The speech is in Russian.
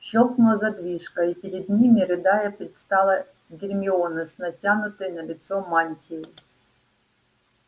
щёлкнула задвижка и перед ними рыдая предстала гермиона с натянутой на лицо мантией